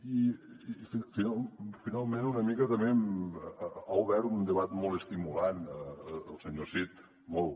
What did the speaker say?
i finalment una mica també ha obert un debat molt estimulant el senyor cid molt